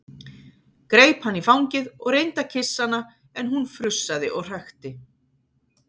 Greip hana í fangið og reyndi að kyssa hana en hún frussaði og hrækti.